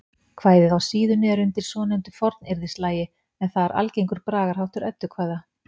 Kvæðið á síðunni er undir svonefndu fornyrðislagi en það er algengur bragarháttur eddukvæða.